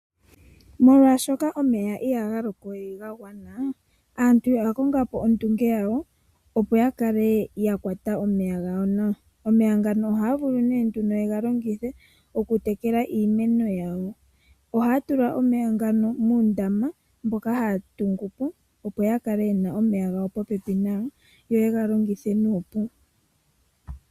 Molwaashoka omeya ihaga loko we gagwana aantu oya kongapo ondunge yawo opo yakale yakwata omeya gawo nawa. Omeya ngano ohaya vulu nee nduno yega longithe okutekela iimeno yawo . Ohaya tula omeya ngano muundama mboka haya tungupo opo yakale yena omeya popepi yo yega longithe nuupu.